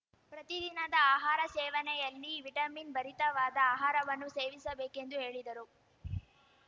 ಪ್ರತಿ ದಿನದ ಆಹಾರ ಸೇವನೆಯಲ್ಲಿ ವಿಟಮಿನ್‌ ಭರಿತವಾದ ಆಹಾರವನ್ನು ಸೇವಿಸಬೇಕೆಂದು ಹೇಳಿದರು